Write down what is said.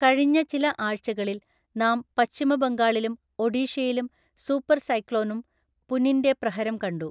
കഴിഞ്ഞ ചില ആഴ്ചകളില്‍ നാം പശ്ചിമബംഗാളിലും ഒഡീഷയിലും സൂപ്പര്‍ സൈക്ലോണും പുനിന്‍റെ പ്രഹരം കണ്ടു.